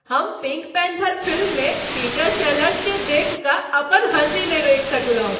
हम Pink Panther फिल्ममे Peter सेलर्सकेँ देखि कऽ अपन हँसी नहि रोकि सकलहुँ।